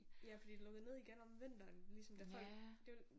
Ja fordi det lukkede ned igen om vinteren ligesom da folk